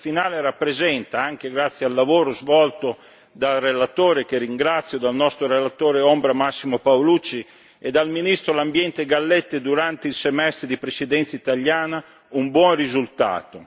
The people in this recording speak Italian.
Il testo finale rappresenta, anche grazie al lavoro svolto dal relatore che ringrazio, dal nostro relatore ombra Massimo Paolucci e dal ministro dell'Ambiente Galletti durante il semestre di Presidenza italiana un buon risultato.